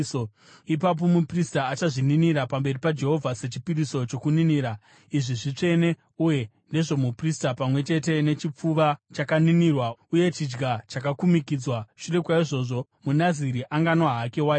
Ipapo muprista achazvininira pamberi paJehovha sechipiriso chokuninira; izvi zvitsvene uye ndezvomuprista, pamwe chete nechipfuva chakaninirwa uye chidya chakakumikidzwa. Shure kwaizvozvo, muNaziri anganwa hake waini.